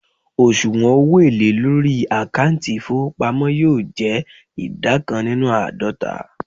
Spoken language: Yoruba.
osuwon owo ele lori akanti ifowopamo yoo je ida kan ninu aadota